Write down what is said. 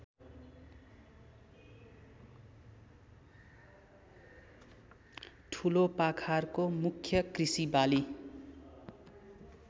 ठुलोपाखारको मुख्य कृषिबाली